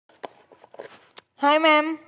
Hi maam!